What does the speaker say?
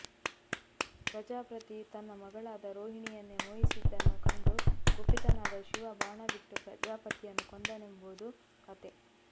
ಪ್ರಜಾಪತಿ ತನ್ನ ಮಗಳಾದ ರೋಹಿಣಿಯನ್ನೇ ಮೋಹಿಸಿದ್ದನ್ನು ಕಂಡು ಕುಪಿತನಾದ ಶಿವ ಬಾಣಬಿಟ್ಟು ಪ್ರಜಾಪತಿಯನ್ನು ಕೊಂದನೆಂಬುದು ಕತೆ